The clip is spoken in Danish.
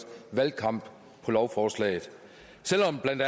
valgkamp på lovforslaget selv om blandt